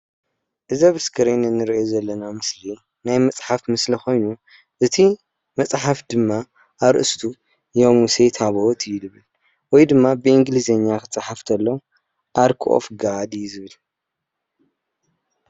እዚ አብ እስክሪን ንሪኦ ዘለና ምስሊ ናይ መፅሓፍ ምስሊ ኮይኑ እቲ መፅሓፍ ድማ አርእስቱ የሙሴ ታቦት እዩ ዝብል። ወይ ድማ በእንግሊዝኛ ክፀሓፍ ተሎ ኣርክ ኦፍ ጋድ እዩ ዝብል ።